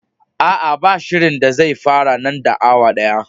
Aa, ba shirinda zai fara nan da awa daya.